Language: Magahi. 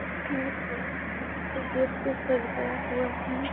इसमें फूल गेट पे सजाया हुआ है |